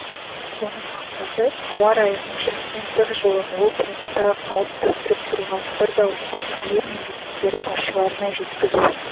оның мақсаты ауа райының шектен тыс жылынуы планетаға қауіп төндіріп тұрғанын бір дауыспен әлем мемлекеттері басшыларына жеткізу